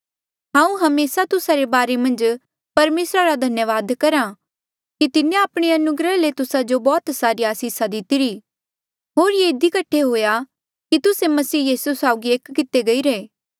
हांऊँ हमेसा तुस्सा रे बारे मन्झ परमेसरा रा धन्यावाद करहा कि तिन्हें आपणे अनुग्रह ले तुस्सा जो बौह्त सारी आसिसा दितिरी होर ये इधी कठे हुआ कि तुस्से मसीह यीसू साउगी एक कितिरे गईरे